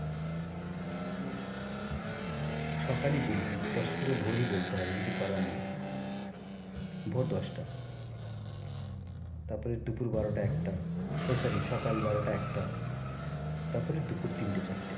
সকালই বলি দশটাটাকে ভোরই বলতে হবে কিছু করার নেই ভোর দশটা তারপরে দুপুর বারোটা একটা এই sorry সকাল বারোটা একটা তারপরে দুপুর তিনটে চারটে।